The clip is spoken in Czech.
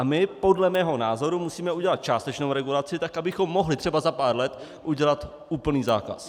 A my podle mého názoru musíme udělat částečnou regulaci tak, abychom mohli třeba za pár let udělat úplný zákaz.